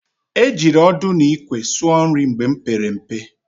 E jiri ọdụ n'ikwe sụọ nri mgbe m pere mpe.